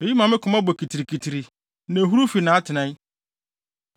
“Eyi ma me koma bɔ kitirikitiri na ehuruw fi nʼatenae.